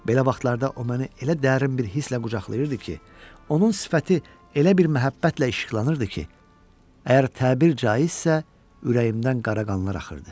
Belə vaxtlarda o məni elə dərin bir hisslə qucaqlayırdı ki, onun sifəti elə bir məhəbbətlə işıqlanırdı ki, əgər təbir caizdirsə, ürəyimdən qara qanlar axırdı.